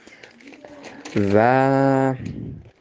за